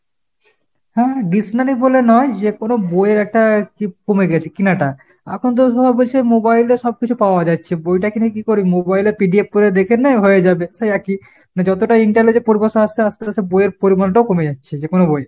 হ্যাঁ dictionary বলে নয়, যেকোনো বই এর একটা কি কমেগেছে কিনাটা। এখন তো সব বলছে mobile এ সব কিছু পাওয়া যাচ্ছে, বইটা কিনে কি করি ? mobile এ PDF করে দেখে নেয়, হয়ে যাবে সেই একই। যতটা intalege পরিভাষা আসছে আস্তে আস্তে বই এর পরিমানটাও কমে যাচ্ছে। যে কোনো বই।